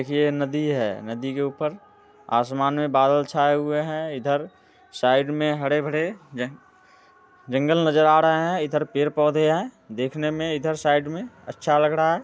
देखिये ये नदी है नदी के ऊपर आसमान में बादल छाए हुए हैं इधर साइड में हरे भरे जन जंगल नजर आ रहे है इधर पेड़ पौधे हैं देखने में इधर साइड में अच्छा लग रहा है।